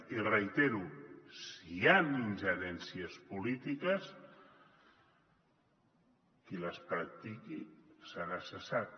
i ho reitero si hi han ingerències polítiques qui les practiqui serà cessat